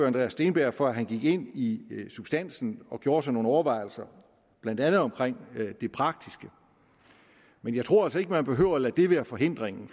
andreas steenberg for han gik ind i substansen og gjorde sig nogle overvejelser blandt andet omkring det praktiske men jeg tror altså ikke at man behøver at lade det være forhindringen